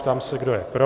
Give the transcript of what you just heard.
Ptám se, kdo je pro.